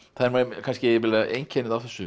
kannski jafnvel einkennið á þessu